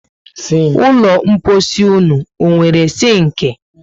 Ụlọ mposi ụnụ ọ nwéré sinki?